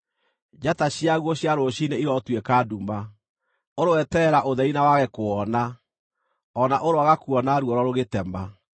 Njata ciaguo cia rũciinĩ irotuĩka nduma; ũroeterera ũtheri na wage kũwona, o na ũroaga kuona ruoro rũgĩtema,